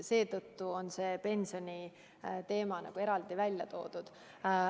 Seetõttu on pensioniteema nagu eraldi välja toodud.